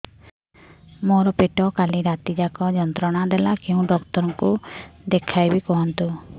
ମୋର ପେଟ କାଲି ରାତି ଯାକ ଯନ୍ତ୍ରଣା ଦେଲା କେଉଁ ଡକ୍ଟର ଙ୍କୁ ଦେଖାଇବି କୁହନ୍ତ